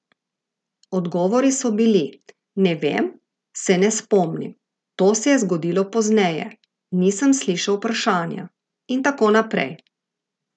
Odgovori so bili: "Ne vem", "Se ne spomnim", "To se je zgodilo pozneje", "Nisem slišal vprašanja" in tako naprej.